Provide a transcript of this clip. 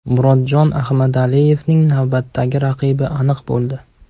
Murodjon Ahmadaliyevning navbatdagi raqibi aniq bo‘ldi.